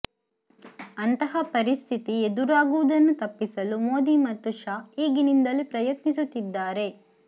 ಅಂತಹ ಪರಿಸ್ಥಿತಿ ಎದುರಾಗುವುದನ್ನು ತಪ್ಪಿಸಲು ಮೋದಿ ಮತ್ತು ಶಾ ಈಗಿನಿಂದಲೇ ಪ್ರಯತ್ನಿಸುತ್ತಿದ್ದಾರೆ